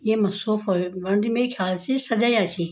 येमा सोफा भी बणदी मेरे ख्याल सि सजयाँ छी।